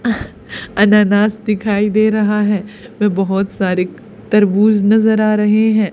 अनानास दिखाई दे रहा है वे बहोत सारे तरबूज नजर आ रहे हैं।